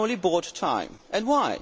We only bought time and why?